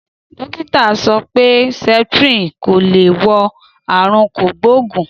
Dókítà sọ pé sẹpitirin ko le wo àrùn kogboogun.